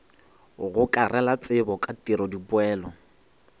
gokarela tsebo ka tiro dipoelo